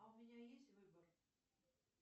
а у меня есть выбор